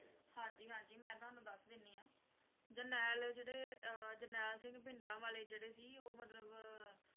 ਹਾਂ, ਹਾਂ, ਮੈਂ ਤੁਹਾਨੂੰ ਜਰਨੈਲ ਸਿੰਘ ਭਿੰਡਰਾਂਵਾਲੇ ਦਾ ਮਤਲਬ ਦੱਸਾਂਗਾ ਜੋ ਕਿ